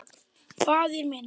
Faðir minn.